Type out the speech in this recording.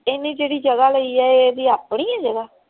ਇਹਨੇ ਜਿਹੜੀ ਜਗ੍ਹਾ ਲਈ ਹੈ ਇਹ ਇਹਦੀ ਆਪਣੀ ਹੈ ਜਗ੍ਹਾ।